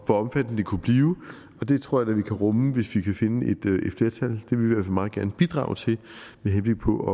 omfattende det kunne blive og det tror jeg da vi kan rumme hvis vi kan finde et flertal det vil vi meget gerne bidrage til med henblik på at